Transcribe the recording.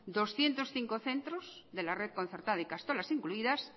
doscientos cinco centros de la red concertada ikastolas incluidas